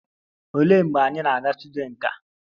Olee mgbe anyị na-aga studyo nka?